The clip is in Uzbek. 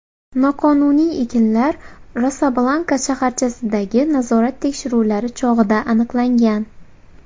Noqonuniy ekinlar Rosa-Blanka shaharchasidagi nazorat tekshiruvlari chog‘ida aniqlangan.